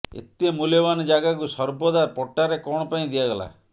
ଏତେ ମୂଲ୍ୟବାନ ଜାଗାକୁ ସର୍ବଦା ପଟ୍ଟାରେ କଣ ପାଇଁ ଦିଆଗଲା